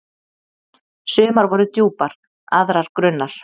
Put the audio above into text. Sumar voru djúpar, aðrar grunnar.